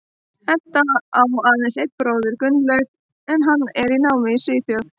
Edda á aðeins einn bróður, Guðlaug, en hann er í námi í Svíþjóð.